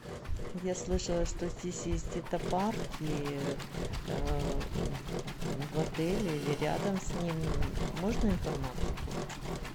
я слышала что здесь есть где то парки в отеле или рядом с ним можно информацию получить